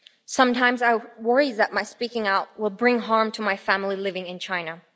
Sometimes I worry that my speaking out will bring harm to my family living in China.